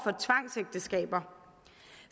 for tvangsægteskaber